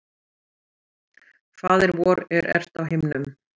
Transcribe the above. Faðir vor, er ert á himnum.